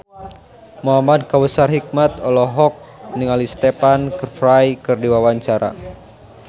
Muhamad Kautsar Hikmat olohok ningali Stephen Fry keur diwawancara